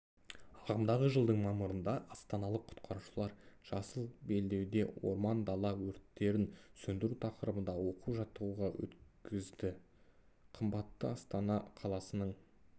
ағымдағы жылдың мамырында астаналық құтқарушылар жасыл белдеуде орман-дала өрттерін сөндіру тақырыбында оқу-жаттығу өткізді қымбатты астана қаласының